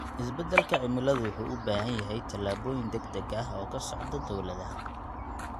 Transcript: Isbedelka cimiladu wuxuu u baahan yahay tallaabooyin degdeg ah oo ka socda dowladaha.